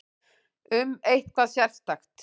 Um eitthvað sérstakt?